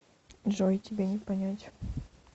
джой тебе не понять